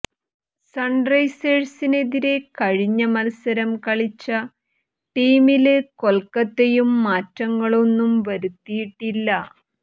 സണ്റൈസേഴ്സിനെതിരെ കഴിഞ്ഞ മത്സരം കളിച്ച ടീമില് കൊല്ക്കത്തയും മാറ്റങ്ങളൊന്നും വരുത്തിയിട്ടില്ല